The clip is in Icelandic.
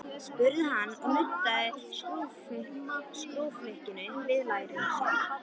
spurði hann og nuddaði skrúflyklinum við læri sér.